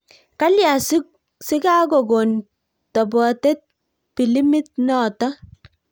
Kalyaa sikakokoon topotet pilimit notok